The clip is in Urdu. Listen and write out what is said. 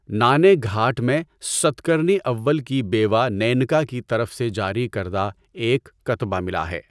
نانے گھاٹ میں، ساتکرنی اول کی بیوہ نیَنکا کی طرف سے جاری کردہ ایک کتبہ ملا ہے۔